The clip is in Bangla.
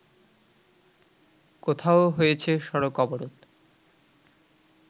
কোথাও হয়েছে সড়ক অবরোধ